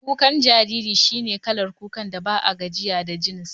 Kukan jarirai shi ne kalar kukan da ba a gajiya da jin sa